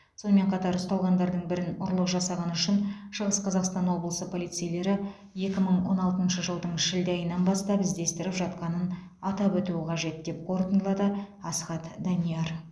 сонымен қатар ұсталғандардың бірін ұрлық жасағаны үшін шығыс қазақстан облысы полицейлері екі мың он алтыншы жылдың шілде айынан бастап іздестіріп жатқанын атап өту қажет деп қорытындылады асхат данияр